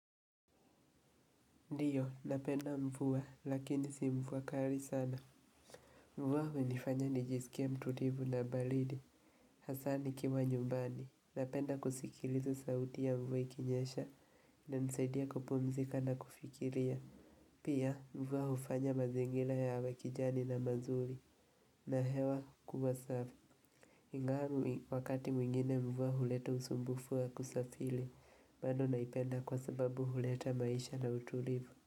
Ndiyo, napenda mvua, lakini si mvua kali sana. Mvua hunifanya nijisikie mtulivu la baridi, hasa nikiwa nyumbani. Napenda kusikiliza sauti ya mvuaa ikinyesha, na inanisaidia kupumzika na kufikiria. Pia, mvua hufanya mazingira yawe kijani na mazuri, na hewa kuwa safi. Ingali hii wakati mwingine mvua huleta usumbufu kusafiri, bado naipenda kwa sababu huleta maisha na utulivu.